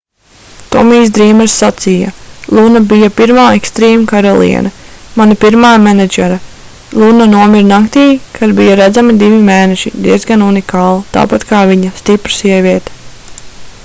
tomijs drīmers sacīja luna bija pirmā extreme karaliene mana pirmā menedžere luna nomira naktī kad bija redzami divi mēneši diezgan unikāli tāpat kā viņa stipra sieviete